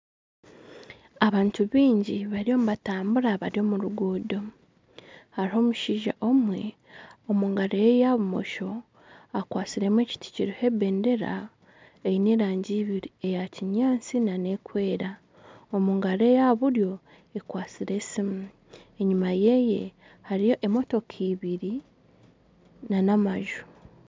Abantu baingi bariyo nibatambura bari omu ruguuto, hariho omushaija omwe omu ngaro ye eya bumusho akwatsire ekiti kiriho ebendera eine erangi ibiri eya kinyaatsi n'erikwera, engaro eya buryo ekwatsire esiimu enyima yeye hariyo emotoka ibiri nana amaju